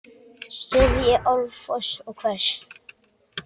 sifji árfoss og hvers!